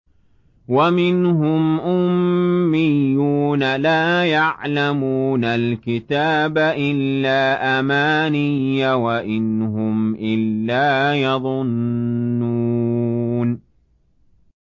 وَمِنْهُمْ أُمِّيُّونَ لَا يَعْلَمُونَ الْكِتَابَ إِلَّا أَمَانِيَّ وَإِنْ هُمْ إِلَّا يَظُنُّونَ